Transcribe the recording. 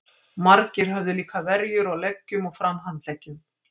Margir höfðu líka verjur á leggjum og framhandleggjum.